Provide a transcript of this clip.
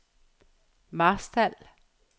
Marstal